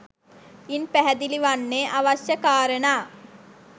ඉන් පැහැදිලි වන්නේ අවශ්‍ය කාරණා